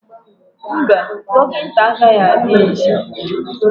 Mba, dọkịta agaghị abịa echi